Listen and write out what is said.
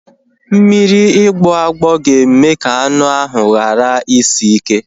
Mmiri ịgboagbo ga-eme ka anu ahu ghara isi ike